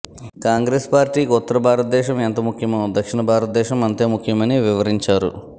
కాంగ్రెస్ పార్టీకి ఉత్తర భారత్ దేశం ఎంత ముఖ్యమే దక్షిణ భారత దేశం అంతే ముఖ్యమని వివరించారు